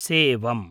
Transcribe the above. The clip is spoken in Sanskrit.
सेवम्